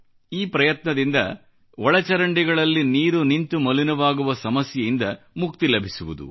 ಈ ಪ್ರಯತ್ನದಿಂದ ನೀರು ನಿಲ್ಲುವ ಸಮಸ್ಯೆಯಿಂದ ಮುಕ್ತಿ ಲಭಿಸುವುದು